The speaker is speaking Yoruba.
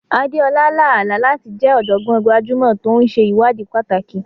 Adeola lá àlá láti jẹ́ ọ̀jọ̀gbọ́n gbajúmọ̀ tó ń ṣe ìwádìí pàtàkì.